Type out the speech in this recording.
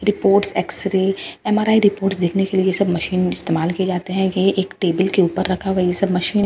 reports X ray M R I report देखने के लिए सब मशीन इस्तेमाल किए जाते हैं कि एक टेबल के ऊपर रखा है वही सब मशीन--